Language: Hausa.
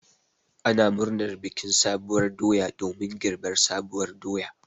Ana murnar bikin sabuwar doya domin girbi sabuwar doya.